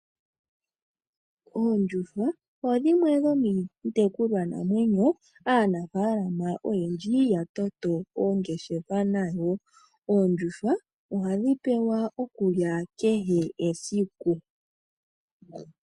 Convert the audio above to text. Oondjuhwa odhimwe dhomiitekulwanamwenyo aanaafalama oyendji ya toto oongeshefa nadho. Oondjuhwa ohadhi pewa okulya kehe esiku.